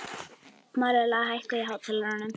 Marela, hækkaðu í hátalaranum.